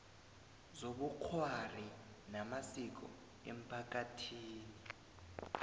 zobukghwari namasiko emphakathini